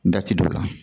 Da ti don o la